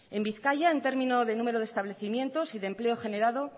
en bizkaia en término de número de establecimientos y de empleo generado